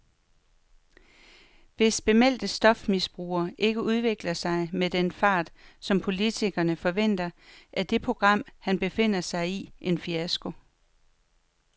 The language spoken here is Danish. Hvis bemeldte stofmisbrugere ikke udvikler sig med den fart, som politikerne forventer, er det program, han befinder sig i, en fiasko.